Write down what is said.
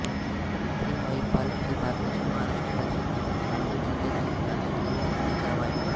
पिंपरी महीपाल हे भारताच्या महाराष्ट्र राज्यातील नांदेड जिल्ह्यातील नांदेड तालुक्यातील एक गाव आहे